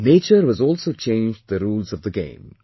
Nature has also changed the rules of the game